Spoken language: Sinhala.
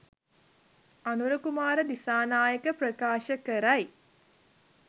අනුර කුමාර දිසානායක ප්‍රකාශ කරයි